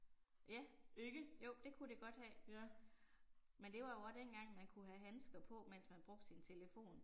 Ja. Jo det kunne det godt have. Men det var jo også dengang man kunne have handsker på, mens man brugte sin telefon